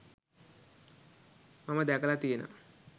මම දැකලා තියෙනවා.